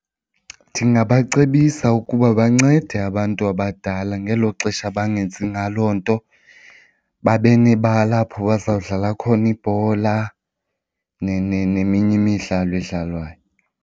Ndingabacebisa ukuba bancede abantu abadala ngelo xesha bangenzi ngaloo nto, babe nebala apho bazawudlala khona ibhola neminye imidlalo edlalwayo.